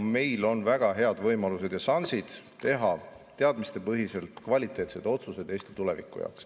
Meil on väga head võimalused ja šansid teha teadmistepõhiselt kvaliteetsed otsused Eesti tuleviku jaoks.